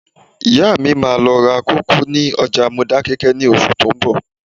Ìyá mi máa lọ ra kòkó ní ọjà Modákẹ́kẹ́ ní oṣù tó ń bọ̀